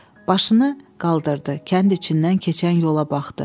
Başını qaldırdı, kənd içindən keçən yola baxdı.